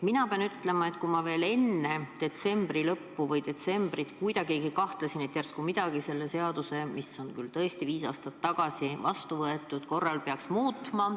Mina pean ütlema, et ma veel enne detsembrikuud kahtlesin, et järsku peaks seda seadust, mis on viis aastat tagasi vastu võetud, kuidagi muutma.